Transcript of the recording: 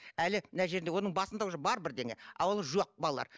әлі мына жерінде оның басында уже бар бірдеңе ал ол жоқ балалар